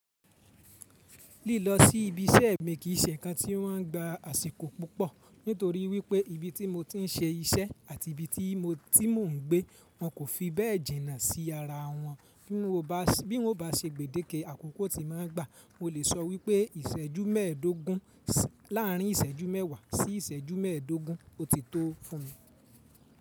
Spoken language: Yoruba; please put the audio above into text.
Lílọ sí ibi iṣẹ́ mi kì í ṣe ǹkan tí o máa ń gba àsìkò púpọ̀, nítorí wípé ibi tí mo ti ń ṣe iṣẹ́ àti ibi tí mo ti ń gbé, wọ́n kò fi bẹ́ẹ̀ jìnà sí ara wọn. Bí mo bá ṣe gbèdéke àkókò tí màá gbà, mo lè sọ wípé ìṣẹ́jú mẹ́ẹ̀ẹ́dógún láàrin ìṣẹ́jú mẹ́wàá sí ìṣẹ́jú mẹ́ẹ̀ẹ́dógún, ó ti tó fún mi.